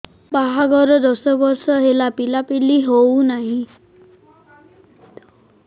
ବାହାଘର ଦଶ ବର୍ଷ ହେଲା ପିଲାପିଲି ହଉନାହି